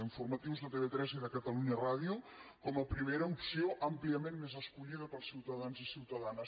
informatius de tv3 i de catalunya ràdio com a primera opció àmpliament més escollida pels ciutadans i ciutadanes